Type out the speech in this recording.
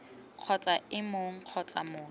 kgotsa ii mong kgotsa motho